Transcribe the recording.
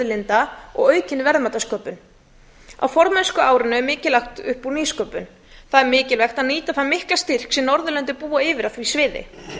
lífauðlinda og aukin verðmætasköpun á formennskuárinu er mikið lagt upp úr nýsköpun það er mikilvægt að nýta þann mikla styrk sem norðurlöndin búa yfir á því sviði